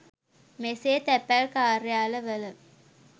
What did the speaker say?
මෙසේ තැපැල් කාර්යාලවල